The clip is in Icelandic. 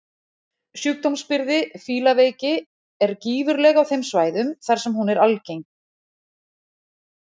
Sjúkdómsbyrði fílaveiki er gífurleg á þeim svæðum þar sem hún er algeng.